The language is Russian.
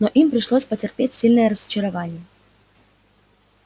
но им пришлось потерпеть сильное разочарование